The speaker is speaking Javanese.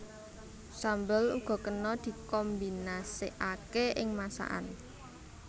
Sambel uga kena dikombinasekaké ing masakan